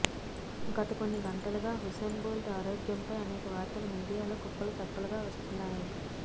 గత కొన్ని గంటలుగా ఉసేన్ బోల్ట్ ఆరోగ్యంపై అనేక వార్తలు మీడియాలో కుప్పలు తెప్పలుగా వస్తున్నాయి